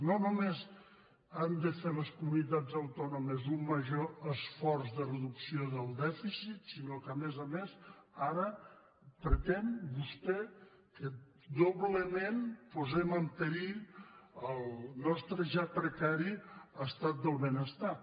no només han de fer les comunitats autònomes un major esforç de reducció del dèficit sinó que a més a més ara pretén vostè que doblement posem en perill el nostre ja precari estat del benestar